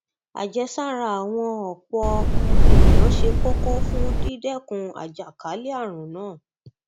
àjẹsára àwọn ọpọ um èèyàn ṣe kókó fún dídẹkun àjàkálẹ ààrùn náà